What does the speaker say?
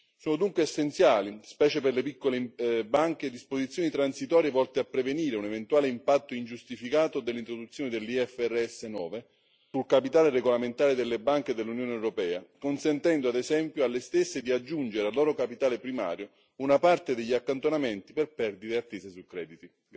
Sono dunque essenziali, specie per le piccole banche, disposizioni transitorie volte a prevenire un eventuale impatto ingiustificato dell'introduzione dell'IFRS 9 sul capitale regolamentare delle banche dell'Unione europea, consentendo ad esempio alle stesse di aggiungere al loro capitale primario una parte degli accantonamenti per perdite attese su crediti.